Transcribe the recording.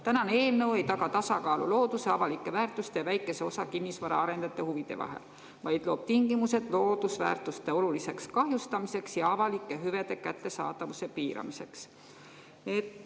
Tänane eelnõu ei taga tasakaalu looduse, avalike väärtuste ja väikese osa kinnisvaraarendajate huvide vahel, vaid loob tingimused loodusväärtuste oluliseks kahjustamiseks ja avalike hüvede kättesaadavuse piiramiseks.